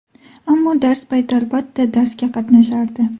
Ammo dars payti albatta darsga qatnashardi.